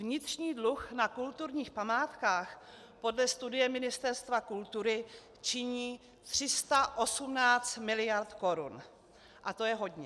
Vnitřní dluh na kulturních památkách podle studie Ministerstva kultury činí 318 miliard korun a to je hodně.